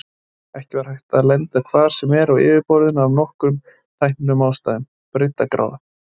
Ekki var hægt að lenda hvar sem er á yfirborðinu af nokkrum tæknilegum ástæðum: Breiddargráða.